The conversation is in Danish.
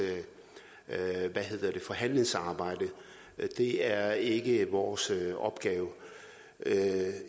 forhandlingssamarbejde det er ikke vores opgave